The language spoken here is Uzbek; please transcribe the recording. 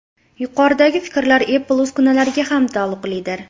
Yuqoridagi fikrlar Apple uskunalariga ham taalluqlidir.